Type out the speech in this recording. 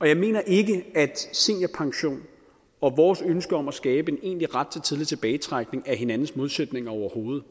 jeg mener ikke at seniorpension og vores ønske om at skabe en egentlig ret til tidlig tilbagetrækning er hinandens modsætninger overhovedet